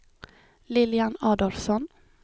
Lilian Adolfsson